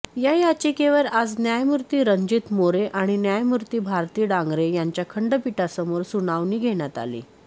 या याचिकेवर आज न्यायमूर्ती रणजित मोरे आणि न्यायमूर्ती भारती डांगरे यांच्या खंडपीठासमोर सुनावणी घेण्यात आली